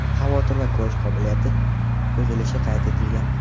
xavotir va ko‘rish qobiliyati buzilishi qayd etilgan.